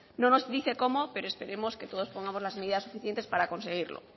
no nos dice cómo pero esperemos que todos pongamos las medidas suficientes para conseguirlo